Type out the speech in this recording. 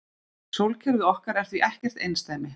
Sólkerfið okkar er því ekkert einsdæmi.